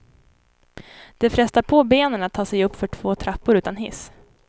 Det frestar på benen att ta sig uppför två trappor utan hiss.